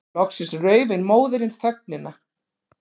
Loksins rauf ein móðirin þögnina.